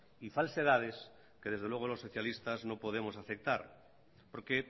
y falsedades que desde luego los socialistas no podemos aceptar porque